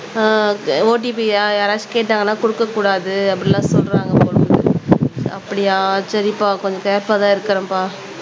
ஆஹ் OTP ய யாராச்சும் கேட்டாங்கன்னா கொடுக்கக் கூடாது அப்படி எல்லாம் சொல்றாங்க அப்படியா சரிப்பா கொஞ்சம் கேர்புல்லா தான் இருக்கிறேன்பா